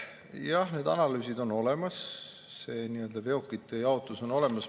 Jah, need analüüsid on olemas, veokite jaotus on olemas.